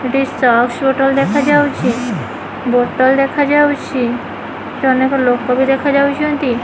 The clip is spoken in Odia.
ଏଠି ସକ୍ସ ବୋଟଲ ଦେଖାଯାଉଚି ବୋଟଲ ଦେଖାଯାଉଚି ଏଠି ଅନେକ ଲୋକ ବି ଦେଖାଯାଉଚନ୍ତି।